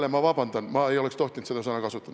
Ma palun vabandust, ma ei oleks tohtinud seda sõna kasutada.